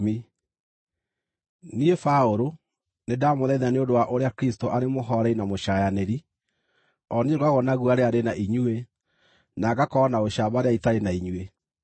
Niĩ Paũlũ nĩndamũthaitha nĩ ũndũ wa ũrĩa Kristũ arĩ mũhooreri na mũcaayanĩri, o niĩ ngoragwo na guoya rĩrĩa ndĩ na inyuĩ, no ngakorwo na ũcamba rĩrĩa itarĩ na inyuĩ!